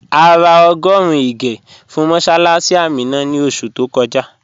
À rà ọ́gọ́run ìgè̩ fún mọ̀ssálássì Àmínà ní oṣù tó kọ́jà